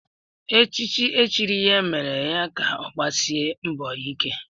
Echichi e chiri ya mere ya ka ọgbasia mbọ ike